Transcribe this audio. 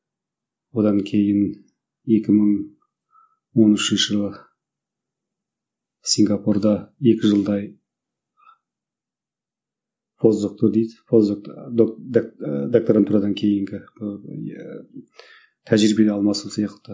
одан кейін екі мың он үшінші жылы сингапурда екі жылдай постдокты дейді постдок ыыы докторантурадан кейінгі тәжірибе алмасу сияқты